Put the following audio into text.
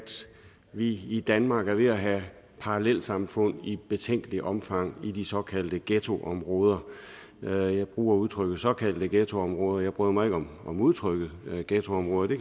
vi i danmark er ved at have parallelsamfund i et betænkeligt omfang i de såkaldte ghettoområder jeg bruger udtrykket såkaldte ghettoområder jeg bryder mig ikke om udtrykket ghettoområder det